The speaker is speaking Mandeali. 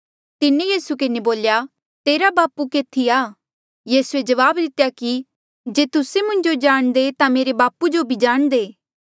तिन्हें यीसू किन्हें बोल्या तेरा बापू केथी आ यीसूए जवाब दितेया कि जे तुस्से मुंजो जाणदे ता मेरे बापू जो बी जाणदे